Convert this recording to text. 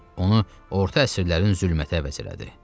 Onu orta əsrlərin zülmətə əvəz elədi.